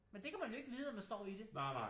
Men det kan man jo ikke vide når man står i det